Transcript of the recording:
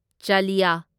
ꯆꯥꯂꯤꯌꯥ